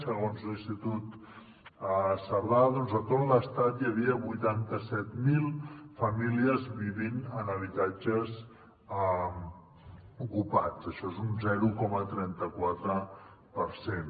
segons l’institut cerdà doncs a tot l’estat hi havia vuitanta set mil famílies vivint en habitatges ocupats això és un zero coma trenta quatre per cent